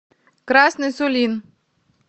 красный сулин